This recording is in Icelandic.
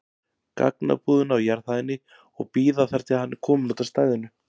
gagnabúðina á jarðhæðinni og bíða þar til hann er kominn út af stæðinu.